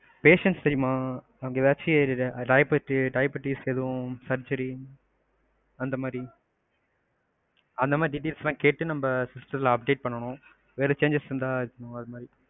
patients தெரியுமா அதப்பத்தி எதாவது diabetics, surgery அந்தமாதிரி, அந்தமாதிரி details எல்லாம் கேட்டு நம்ம system துல update பண்ணனும். வேற changes இருந்தா